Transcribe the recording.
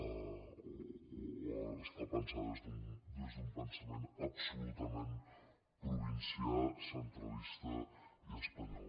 o està pensada des d’un pensament absolutament provincià centralista i espanyol